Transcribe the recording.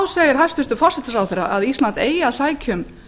segir hæstvirtur forsætisráðherra að ísland eigi að sækja um